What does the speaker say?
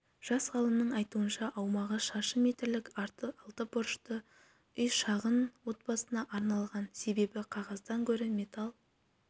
жас ғалымның айтуынша аумағы шаршы метрлік алты бұрышты үй шағын отбасына арналған себебі қағаздан гөрі металл